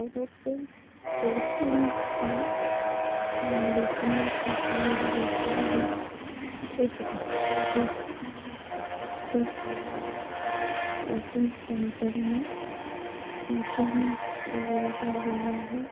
Coachings है जिसमें पढ़ाई होती है एक बच्चे के साथ बैठे हुए है कोचिंग सेन्टर में नीचे भी फूल लगा हुआ है ।